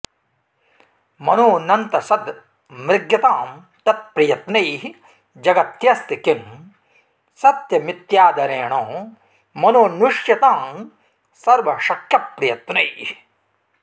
मनोऽनन्तसद् मृग्यतां तत् प्रयत्नैः जगत्यस्ति किं सत्यमित्यादरेण मनोऽन्विष्यतां सर्वशक्यप्रयत्नैः